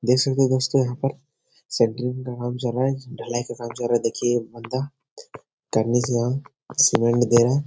देख सकते हैं दोस्तों यहाँ पर सेंट्रिंग का काम चल रहा है ढलाई का काम चल रहा है देखिये ये बंदा कन्नी से सीमेंट दे रहा है।